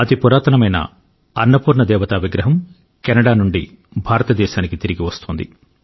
అతి పురాతనమైన అన్నపూర్ణ దేవత విగ్రహం కెనడా నుండి భారతదేశానికి తిరిగి వస్తోంది